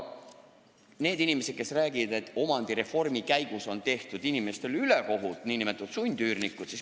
On inimesi, kes räägivad, et omandireformi käigus on tehtud inimestele ülekohut, pidades silmas nn sundüürnikke.